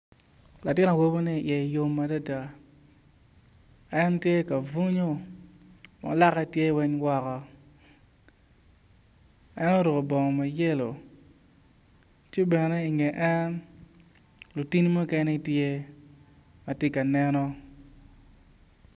Latin awobi man iye yom adada en tye ka bwonyo ma lake tye weng woko en oruko bongo ma yelo ci bene inge en lutini mukene tye ma tye ka neno.